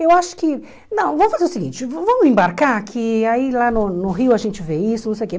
Eu acho que, não, vamos fazer o seguinte, vamos embarcar aqui, aí lá no no Rio a gente vê isso, não sei o que.